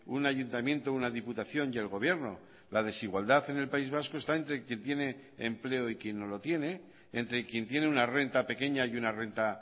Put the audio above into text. un ayuntamiento una diputación y el gobierno la desigualdad en el país vasco está entre quien tiene empleo y quien no lo tiene entre quien tiene una renta pequeña y una renta